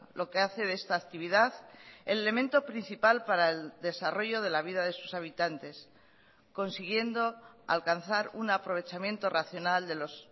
lo que hace de esta actividad el elemento principal para el desarrollo de la vida de sus habitantes consiguiendo alcanzar un aprovechamiento racional de los